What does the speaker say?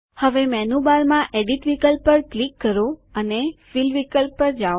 હવે મેનુબારમાં એડિટ વિકલ્પ પર ક્લિક કરો અને ફિલ વિકલ્પ પર જાઓ